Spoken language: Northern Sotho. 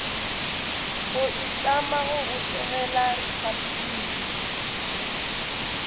go itlama go botegela repabliki